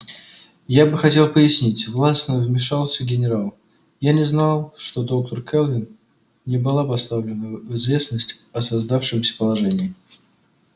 я бы хотел пояснить властно вмешался генерал я не знал что доктор кэлвин не была поставлена в известность о создавшемся положении